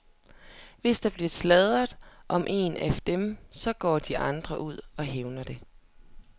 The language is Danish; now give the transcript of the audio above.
Hvis der bliver sladret om en af dem, så går de andre ud og hævner det.